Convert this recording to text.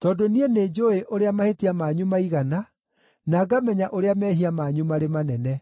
Tondũ niĩ nĩnjũũĩ ũrĩa mahĩtia manyu maigana, na ngamenya ũrĩa mehia manyu marĩ manene.